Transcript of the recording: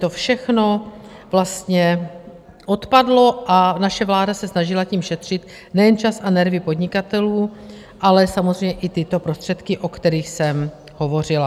To všechno vlastně odpadlo a naše vláda se snažila tím šetřit nejen čas a nervy podnikatelů, ale samozřejmě i tyto prostředky, o kterých jsem hovořila.